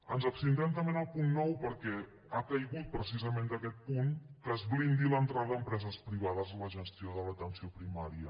ens abstindrem també en el punt nou perquè ha caigut precisament d’aquest punt que es blindi l’entrada a empreses privades en la gestió de l’atenció primària